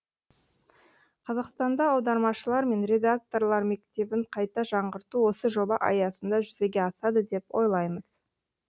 қазақстанда аудармашылар мен редакторлар мектебін қайта жаңғырту осы жоба аясында жүзеге асады деп ойлаймыз